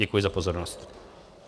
Děkuji za pozornost.